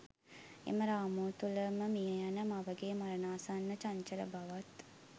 එම රාමුව තුළම මියයන මවගේ මරණාසන්න චංචල බවත්